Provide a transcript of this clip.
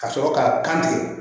Ka sɔrɔ k'a kan ten